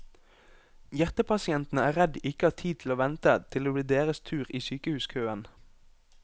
Hjertepasientene er redd de ikke har tid til å vente til det blir deres tur i sykehuskøen.